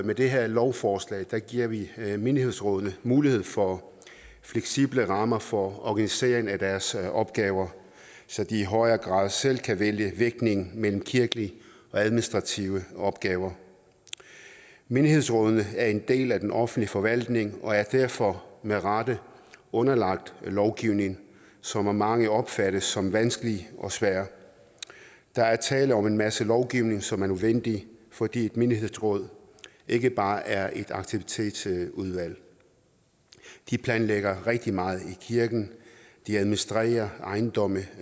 med det her lovforslag giver vi menighedsrådene mulighed for fleksible rammer for organisering af deres opgaver så de i højere grad selv kan vælge vægtningen mellem kirkelige og administrative opgaver menighedsrådene er en del af den offentlige forvaltning og er derfor med rette underlagt lovgivning som af mange opfattes som vanskelig og svær der er tale om en masse lovgivning som er nødvendig fordi et menighedsråd ikke bare er et aktivitetsudvalg de planlægger rigtig meget i kirken de administrerer ejendomme